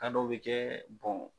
dɔw bɛ kɛ